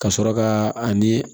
Ka sɔrɔ ka ani